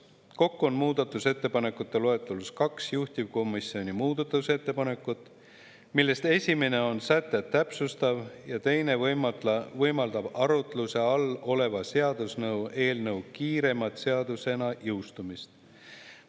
Kokku on muudatusettepanekute loetelus kaks juhtivkomisjoni muudatusettepanekut, millest esimene on sätet täpsustav ja teine võimaldab arutluse all oleva seaduseelnõu kiiremat seadusena jõustumist.